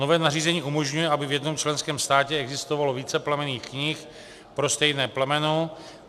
Nové nařízení umožňuje, aby v jednom členském státě existovalo více plemenných knih pro stejné plemeno.